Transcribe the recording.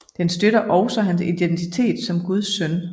Den støtter også hans identitet som Guds søn